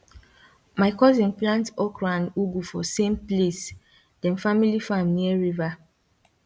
my cousin plant okro and ugu for same place dem family farm near river